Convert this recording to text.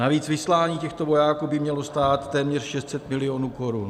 Navíc vyslání těchto vojáků by mělo stát téměř 600 milionů korun.